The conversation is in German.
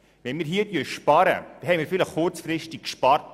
Wenn wir hier sparen, haben wir vielleicht kurzfristig gespart.